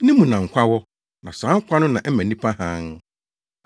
Ne mu na nkwa wɔ; na saa nkwa no na ɛma nnipa hann.